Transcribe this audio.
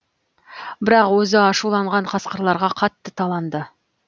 бірақ өзі ашуланған қасқырларға қатты таланды